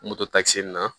Moto takisi nin na